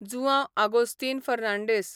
Joao Agostinho Fernandes